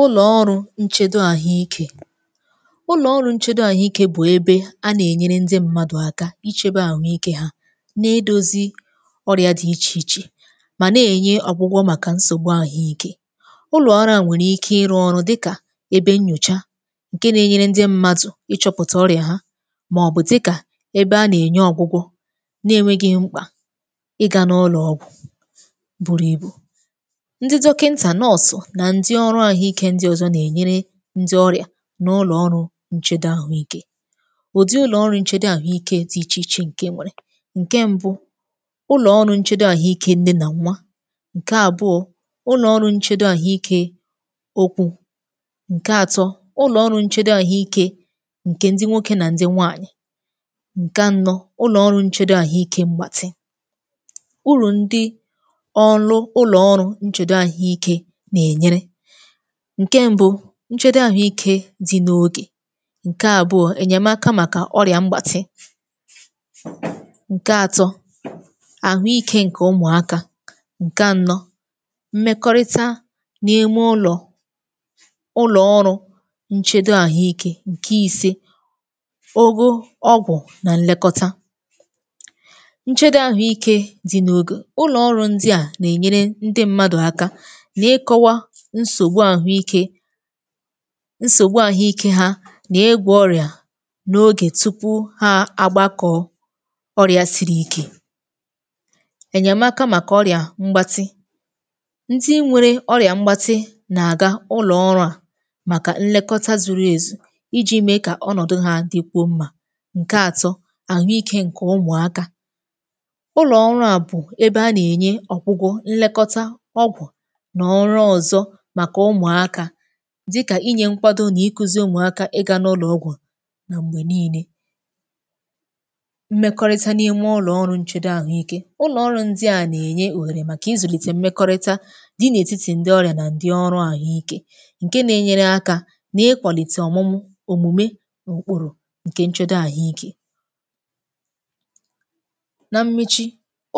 Ụlọ̀ ọrụ nchedo àhụike. Ụlọ̀ ọrụ nchedo àhụike bụ̀ ebe a nà-ènyere ndị mmadụ̀ aka ichebe àhụ ike ha na-edozi ọrịa dị iche iche mà na-enye ọgwụgwọ màkà nsògbu àhụike. Ụlọ̀ ọrụ a nwẹrẹ ike ịrụ ọrụ dịkà ebe nnyòcha ǹke na-enyere ndị mmadụ̀ ịchọpụ̀tà ọrịa ha màọbụ̀ dịkà ebe a nà-ènye ọgwụgwọ na-enweghị̇ mkpà ịga n’ụlọ̀ ọgwụ̀ bụrụ̀ ibu. Ndị dọkịnta, nọọsụ na ndị ọrụ àhụikė ndị ọ̀zọ nà-ènyere ndị ọrịà n’ụlọ̀ ọrụ ǹchedo àhụikė. Ùdi ụlọ̀ ọrụ ǹchedo àhụikė dị ichè ichè ǹke e enwere; ǹke mbu, ụlọ̀ ọrụ nchedo àhụike nne nà nwa, ǹke àbụọ, ụlọ̀ ọrụ nchedo àhụike ụkwụ, ǹke àtọ ụlọ̀ ọrụ nchedo àhụike ǹke ndị nwokė nà ndị nwaànyị̀, ǹke anọ̇, ụlọ̀ ọrụ nchedo àhụike mgbàtị. Uru ndi ọrụ ụlọ̀ ọrụ nchedo àhụike nà-ènyere; ǹke mbu, nchedo àhụike dì n’ogè, ǹke àbụọ, ènyèmaka màkà ọrị̀à mgbàtị, ǹke atọ, àhụikė ǹkè umùaka ǹke anọ, mmekọrịta n’ime ụlọ̀ ụlọ̀ ọrụ nchedo àhụike, ǹke ise, ogo ọgwụ̀ nà ǹlekọta. Nchedo àhụikė dì n’ogè: ụlọ̀ ọrụ ndị à nà-ènyere ndị mmadù aka na-ịkọwa nsògbu àhụike nsògbu àhụike ha nà-ịgwọ ọrị̀à n’ogè tupu ha agbakọ ọrị̀à siri ike. Ènyèmaka màkà ọrị̀à mgbatị; ndị nwere ọrị̀à mgbatị nà-àga ụlọ̀ ọrụ à màkà nlekọta zuru èzù iji̇ mee kà ọnọ̀dụ ha dịkwuo mma. Nkè atọ àhụike ǹkè umùaka; ụlọ̀ ọrụ à bụ̀ ebe a nà-ènye ọgwụgwọ, nlekọta, ọgwụ̀ na ọrụ ọzọ maka ụmụ̀aka dịkà inyè nkwado nà ikuzi̇ ụmụ̀akȧ ị ga n’ụlọ̀ ọgwụ̀ nà m̀gbè niine. Mmekọrịta n’ime ụlọ̀ ọrụ nchedo àhụike; ụlọ̀ ọrụ ndị à nà-ènye òhèrè màkà ịzụ̀lìtè mmekọrịta dị n’ètitì ndị ọrịà nà ndị ọrụ àhụike ǹke na-enyere aka nà-ịkwàlìte ọ̀mụmụ òmùme ùkpùru ǹke nchedo àhụike. Na mmechi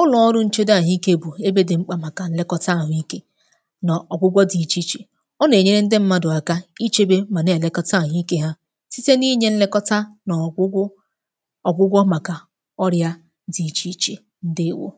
ụlọ̀ ọrụ nchedo àhụike bù ebe dị̀ mkpà màkà nlekọta àhụikeọ̀ na ọgwụgwọ dị iche iche. Ọ na-enyere ndị mmadụ aka ichebe mà na-èlekọta àhụ ike ha, síté n’inye nlekọta n’ọgwụgwụ ọ̀gwụgwọ màkà ọrịa dị ichè ichè, ǹdeèwo.